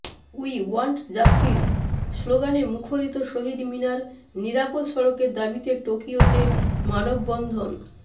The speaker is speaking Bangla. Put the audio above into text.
উই ওয়ান্ট জাস্টিস স্লোগানে মুখরিত শহীদ মিনার নিরাপদ সড়কের দাবিতে টোকিওতে মানববন্ধন